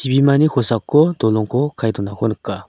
chibimani kosako dolongko kae donako nika.